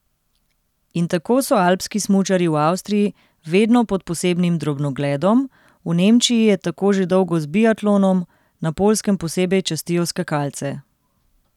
In tako so alpski smučarji v Avstriji vedno pod posebnim drobnogledom, v Nemčiji je tako že dolgo z biatlonom, na Poljskem posebej častijo skakalce.